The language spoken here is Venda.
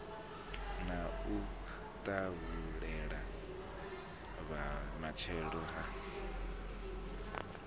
na u tahulela vhumatshelo ha